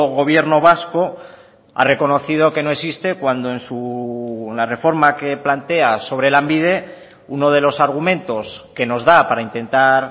gobierno vasco ha reconocido que no existe cuando en la reforma que plantea sobre lanbide uno de los argumentos que nos da para intentar